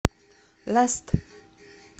ласт